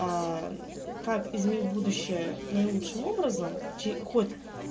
аа мм как изменить будущее наилучшим образом чей уход